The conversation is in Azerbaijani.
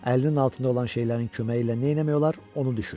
Əlinin altında olan şeylərin köməyi ilə neyləmək olar, onu düşün.